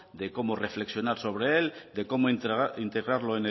de cómo reflexionar sobre él de cómo integrarlo